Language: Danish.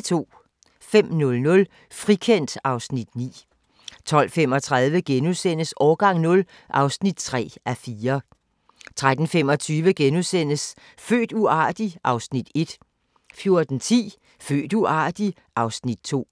05:00: Frikendt (Afs. 9) 12:35: Årgang 0 (3:4)* 13:25: Født uartig? (Afs. 1)* 14:10: Født uartig? (Afs. 2)